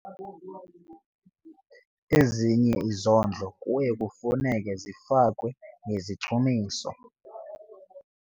Ezinye izondlo kuya kufuneka zifakwe ngezichumiso.